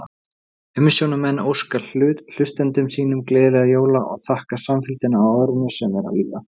Umsjónarmenn óska hlustendum sínum gleðilegra jóla og þakka samfylgdina á árinu sem er að líða!